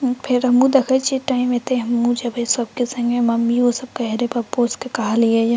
फेर हमहु देखे छीये टाइम एते हमहु जे बे सबके संगे मम्मियों सब कहे रहे पप्पों सब के कहलिए ये।